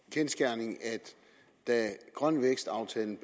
kendsgerning at da grøn vækst aftalen